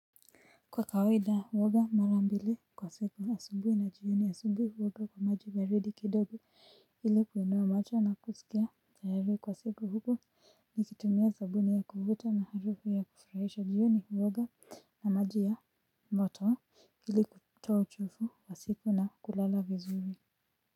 Kwa kawaida huoga mara mbili kwa siku asubuhi na jioni. Asubuhi huoga kwa maji baridi kidogo ilikuonoa macho na kusikia tayari kwa siku huku nikitumia sabuni ya kuvuta maharufu ya kufurahisha. Jioni huoga na maji ya moto, ili kutoa uchafu wa siku na kulala vizuri.